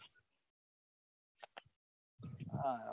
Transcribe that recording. હા